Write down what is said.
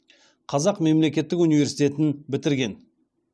қазақ мемлекеттік университетін бітірген